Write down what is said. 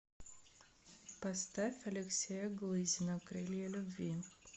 поставь алексея глызина крылья любви